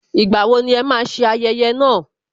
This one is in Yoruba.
Ìgbà wo ni ẹ máa ṣe ayẹyẹ náà